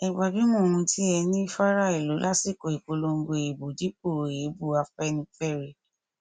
ẹ gbajúmọ ohun tí ẹ ní fara ìlú lásìkò ìpolongo ìbò dípò èébú afẹnifẹre